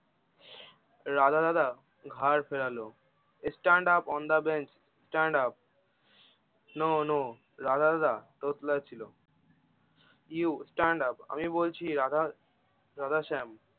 রাধা দাদা ঘাড় ফেরালো stand up on the bench stand up no no Radha দাদা তোতলাচ্ছিলো you stand up আমি বলছি রাধা রাধা শ্যাম